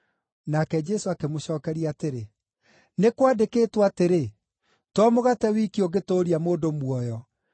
Nake Jesũ akĩmĩcookeria atĩrĩ, “Nĩ kwandĩkĩtwo atĩrĩ: ‘To mũgate wiki ũngĩtũũria mũndũ muoyo.’ ”